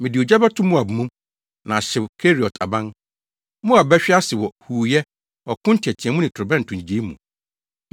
Mede ogya bɛto Moab mu, na ahyew Keriot aban. Moab bɛhwe ase wɔ huuyɛ, ɔko nteɛteɛmu ne torobɛnto nnyigyei mu.